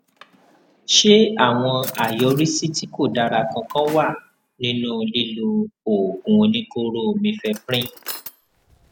ṣé àwọn àyọrísí tí kò dára kankan wà nínú lílo oògùn oníkóró mifeprin